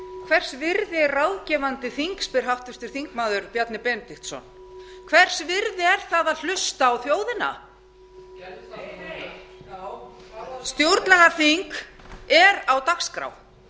hvers virði er ráðgefandi þing spyr háttvirtur þingmaður bjarni benediktsson hvers virði er það að hlusta á þjóðina stjórnlagaþing er á dagskrá